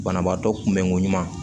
Banabaatɔ kunbɛnko ɲuman